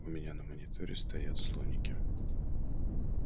у меня на мониторе стоят слоники